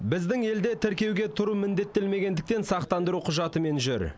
біздің елде тіркеуге тұру міндеттелмегендіктен сақтандыру құжатымен жүр